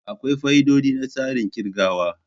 Akwai fa'idodi na tsarin kirgawa.